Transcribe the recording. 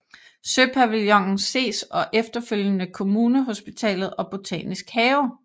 Søpavillonen ses og efterfølgende Kommunehospitalet og Botanisk have